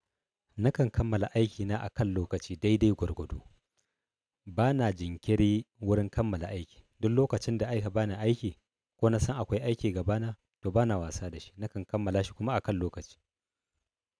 Nakan kammala aikina a kan lokaci dai-dai gwargwado. Bana jinkiri wurin kammala aiki. Duk lokacinda aika bani aiki ko nasan akwai aiki gabana, to bana wasa dashi. Nakan kammala shi kuma a kan lokaci.